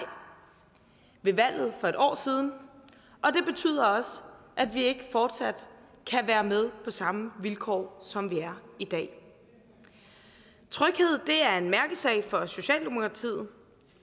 ved valget for et år siden og det betyder også at vi ikke fortsat kan være med på samme vilkår som vi er i dag tryghed er en mærkesag for socialdemokratiet